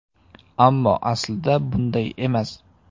Ammo aslida bunday emas.